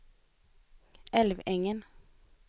Älvängen